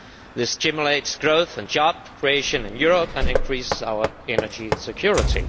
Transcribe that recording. This stimulates growth and job creation in Europe and increases our energy security.